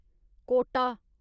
Kota